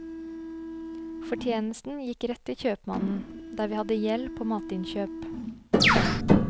Fortjenesten gikk rett til kjøpmannen, der vi hadde gjeld på matinnkjøp.